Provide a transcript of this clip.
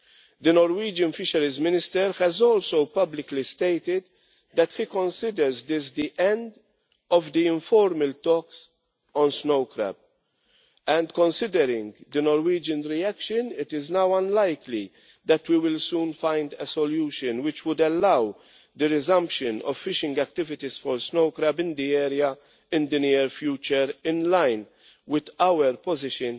The Norwegian Fisheries Minister has also publicly stated that he considers this the end of the informal talks on snow crab. Considering the Norwegian reaction, it is now unlikely that we will find a solution soon which would allow for the resumption of fishing activities for snow crab in the area in the near future in line with our position